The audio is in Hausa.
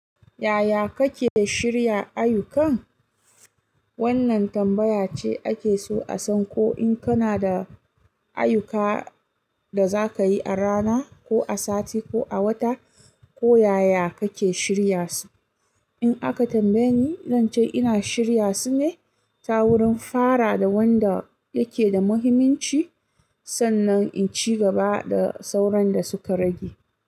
Yaya kake shirya ayyukan? Wannan tambaya ce ake so a san ko in kana da ayyuka da za ka yi a rana ko a sati ko a wata, ko yaya kake shirya su. In aka tambaye ni, zance ina shirya su ne ta wurin fara da wanda yake da muhimmanci sannan in ci gaba da sauran da suka rage.